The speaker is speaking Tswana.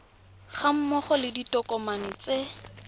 ga mmogo le ditokomane tse